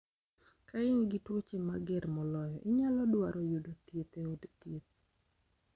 Ka in gi tuoche mager moloyo, inyalo dwaro yudo thieth e od thieth